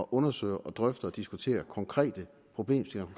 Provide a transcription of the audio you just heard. undersøge drøfte og diskutere konkrete problemstillinger